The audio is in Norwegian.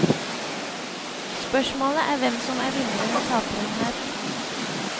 Spørsmålet er hvem som er vinneren og taperen her.